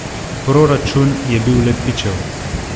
Proračun je bil le pičel.